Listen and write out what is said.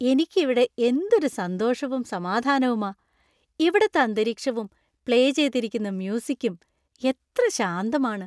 എനിക്ക് ഇവിടെ എന്തൊരു സന്തോഷവും സമാധാനവുമാ ,ഇവിടത്തെ അന്തരീക്ഷവും പ്ലേ ചെയ്തിരിക്കുന്ന മ്യൂസികും എത്ര ശാന്തമാണ്!